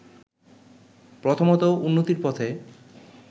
প্রথমতঃ উন্নতির পথে